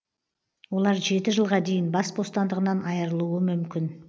олар жеті жылға дейін бас бостандығынан айырылуы мүмкін